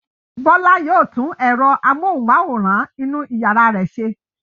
Bọ́lá yóò tún ẹ̀rọ amóhùmáwòhán inú ìyàrá rẹ̀ ṣe.